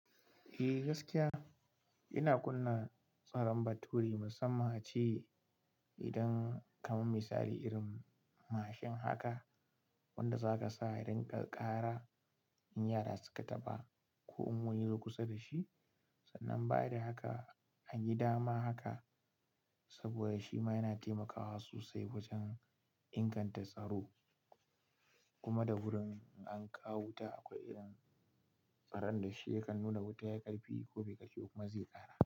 Eh gaskiya, ina kunna tsaron baturi musamman a ce idan kamar misali irin mashin haka wanda za ka sa ya rinƙa ƙara in yara suka taɓa ko in wani ya zo kusa da shi. Sannan bayada haka a gida ma haka saboda shi ma yana taimakawa sosai wajen inganta tsaro. Kuma da wurin an kawo wuta akwai irin tsaron da shi yakan nuna wuta ya ƙarfi ko bai ƙarfe kuma zai ƙara.